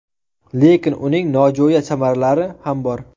Lekin uning nojo‘ya samaralari ham bor.